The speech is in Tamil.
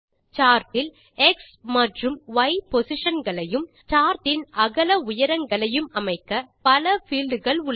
சார்ட் இல் எக்ஸ் மற்றும் ய் பொசிஷன் களையும் சார்ட் இன் அகல உய்ரங்களையும் அமைக்க பல பீல்ட் கள் உண்டு